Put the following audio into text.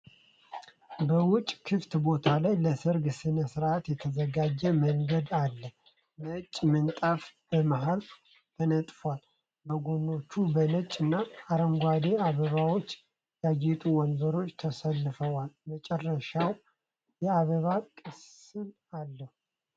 በውጭ ክፍት ቦታ ላይ ለሠርግ ሥነ ሥርዓት የተዘጋጀ መንገድ አለ። ነጭ ምንጣፍ በመሃል ተነጥፏል፤ በጎኖቹ በነጭ እና አረንጓዴ አበባዎች ያጌጡ ወንበሮች ተሰልፈዋል። መጨረሻው የአበባ ቅስት አለ።